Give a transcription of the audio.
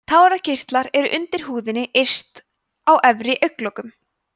tárakirtlar eru undir húðinni yst á efri augnlokum